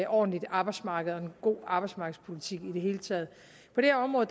ordentligt arbejdsmarked og en god arbejdsmarkedspolitik i det hele taget på det område